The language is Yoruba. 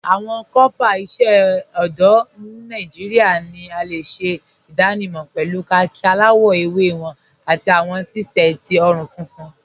Awọn kọọpá iṣẹ ọdọ Nàìjíríà ni a le ṣẹ idànímọ̀ pẹ̀lú kháàkì aláwọ̀ èwé wọn àti awọn t-séẹtí ọ̀run-fúnfún.